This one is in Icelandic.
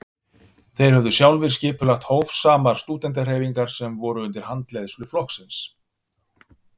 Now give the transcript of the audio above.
Þeir höfðu sjálfir skipulagt hófsamar stúdentahreyfingar sem voru undir handleiðslu flokksins.